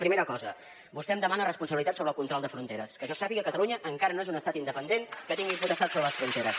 primera cosa vostè em demana responsabilitat sobre el control de fronteres que jo sàpiga catalunya encara no és un estat independent que tingui potestat sobre les fronteres